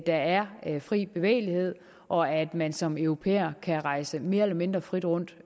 der er fri bevægelighed og at man som europæer kan rejse mere eller mindre frit rundt